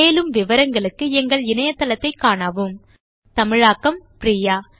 மேலும் விவரங்களுக்கு எங்கள் இணையதளத்தைக் காணவும் 1 தமிழாக்கம் பிரியா